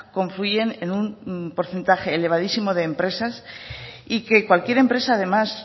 confluyen en un porcentaje elevadísimo de empresas y que cualquier empresa además